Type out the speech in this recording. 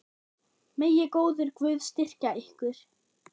Megi góður Guð styrkja ykkur.